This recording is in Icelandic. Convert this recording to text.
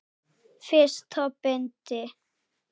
Fyrsta bindi.